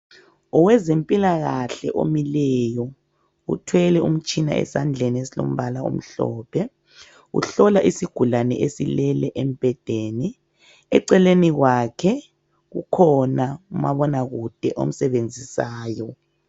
Owezempilakahle omileyo uthwele umtshina esandleni esilombala omhlophe uhlola isigulani esilele embhedeni, eceleni kwakhe kukhona umabonakude omsebenzisayo.